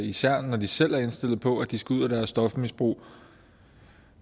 især når de selv er indstillet på at de skal ud af deres stofmisbrug